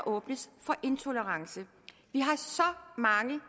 åbnes for intolerance vi har så mange